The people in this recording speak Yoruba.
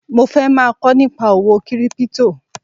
Mo fẹ́ máa kọ́ nípa owó kírípítò